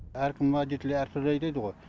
әркім водитель әр түрлі айдайды ғой